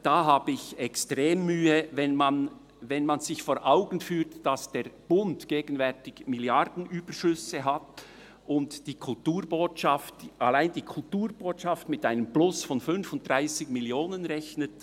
Damit habe ich extrem Mühe, wenn man sich vor Augen führt, dass der Bund gegenwärtig Milliardenüberschüsse hat und allein die Kulturbotschaft mit einem Plus von 35 Mio. Franken rechnet.